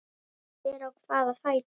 Hver á hvaða fætur?